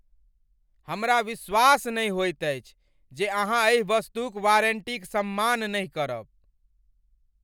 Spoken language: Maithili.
हमरा विश्वास नहि होइत अछि जे अहाँ एहि वस्तुक वारंटीक सम्मान नहि करब।